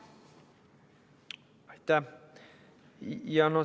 Aitäh!